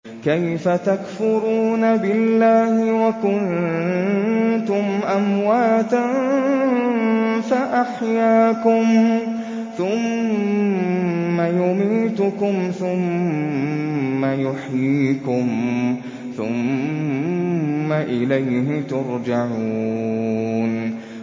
كَيْفَ تَكْفُرُونَ بِاللَّهِ وَكُنتُمْ أَمْوَاتًا فَأَحْيَاكُمْ ۖ ثُمَّ يُمِيتُكُمْ ثُمَّ يُحْيِيكُمْ ثُمَّ إِلَيْهِ تُرْجَعُونَ